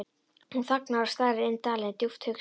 Hún þagnar og starir inn dalinn, djúpt hugsi.